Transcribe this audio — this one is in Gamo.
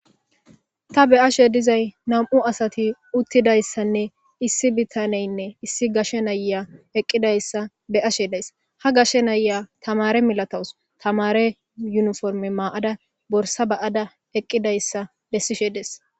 Ta be ashe dizay nam'u asati uttidayssanne issi bitaneynne issi gashe naya eqqidayssa be ashe days ha gashe naya tamare milatowus tamare yuniforme maaada borsa ba'da eqqidayssa lessishe dees.